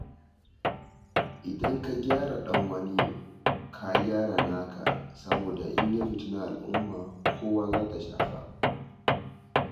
Idan ka gyara ɗan wani ka gyara naka, saboda in ya fitini al'umma kowa za ta shafa.